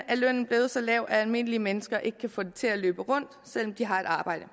er lønnen blevet så lav at almindelige mennesker ikke kan få det til at løbe rundt selv om de har et arbejde